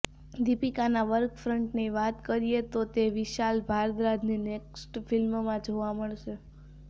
દીપિકાના વર્કફ્રંટની વાત કરીએ તો તે વિશાલ ભારદ્વાજની નેક્સ્ટ ફિલ્મમાં જોવા મળશે